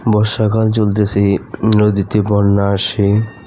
বর্ষাকাল চলতেসে নদীতে বন্যা আসে।